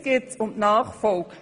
Jetzt geht es um die Nachfolge.